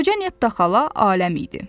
Qoca Nettaxala aləm idi.